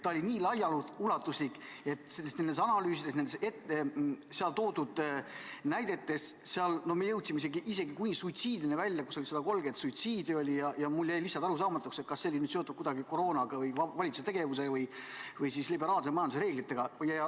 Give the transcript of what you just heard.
See oli nii laiaulatuslik, need analüüsid, need toodud näited – me jõudsime isegi suitsiidini välja, umbes 130 suitsiidi oli –, ja mulle jäi nüüd arusaamatuks, kas see oli kuidagi seotud koroonaga, valitsuse tegevusega või liberaalse majanduse reeglitega.